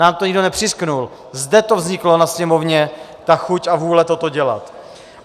Nám to nikdo nepřiřknul, zde to vzniklo ve Sněmovně, ta chuť a vůle toto dělat.